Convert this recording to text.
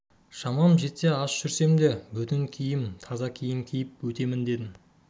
шамам жетсе аш жүрсем де бүтін киім таза киім киіп өтемін дедім